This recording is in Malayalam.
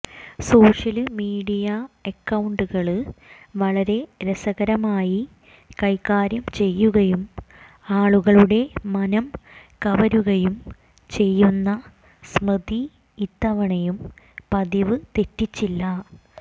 സോഷ്യല് മീഡിയ അക്കൌണ്ടുകള് വളരെ രസകരമായ് കൈകാര്യം ചെയ്യുകയും ആളുകളുടെ മനം കവരുകയെം ചെയ്യുന്ന സ്മൃതി ഇത്തവണയും പതിവ് തെറ്റിച്ചില്ല